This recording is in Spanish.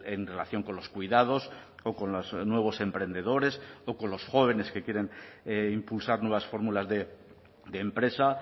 en relación con los cuidados o con los nuevos emprendedores o con los jóvenes que quieren impulsar nuevas fórmulas de empresa